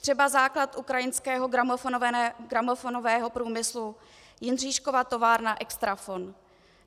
Třeba základ ukrajinského gramofonového průmyslu - Jindříškova továrna Extrafon.